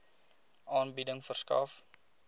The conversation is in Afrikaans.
aanbieding verskaf